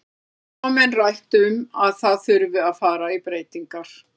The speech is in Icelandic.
Þá hafa menn rætt um að það þurfi að fara í breytingar.